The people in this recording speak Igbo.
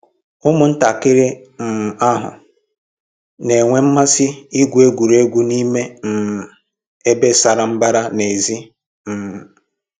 Ụmụntakịrị um ahụ na-enwe mmasị igwu egwuregwu n'ime um ebe sara mbara n'èzí um